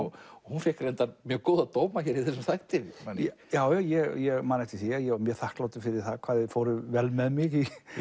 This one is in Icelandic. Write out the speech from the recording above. og hún fékk reyndar mjög góða dóma í þessum þætti man ég já ég man eftir því að ég var mjög þakklátur fyrir það hvað þið fóruð vel með mig